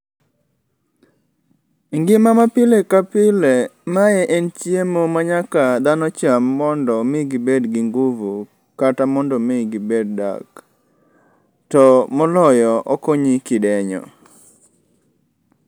E ngima ma pile ka pile ma en chiemo ma nyaka dhano cham mondo mi gibe gi nguvu kata mondo mi gibed dak. To moloyo okonyi kidenyo.